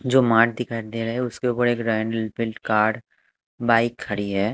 जो मार्ट दिखाई दे रहा है उसके ऊपर एक रायन रॉयल एनफील्ड कार बाइक खड़ी है।